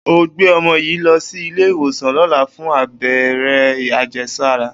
O óò gbé o̩mo̩ yìí lo̩ sí ilé ìwòsàn ló̩la fún abé̩ré̩ àje̩sára!